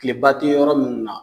Kileba te yɔrɔ minnu na